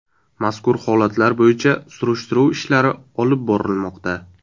Mazkur holatlar bo‘yicha surishtiruv ishlari olib borilmoqda.